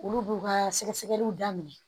Olu b'u ka sɛgɛsɛgɛliw daminɛ